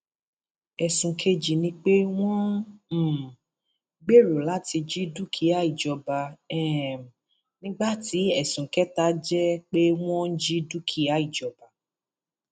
ẹsùn kejì ni pé wọn um gbèrò láti jí dúkìá ìjọba um nígbà tí ẹsùn kẹta jẹ pé wọn jí dúkìá ìjọba